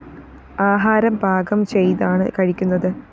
ആഹാരം പാകം ചെയ്താണ് കഴിക്കുന്നത്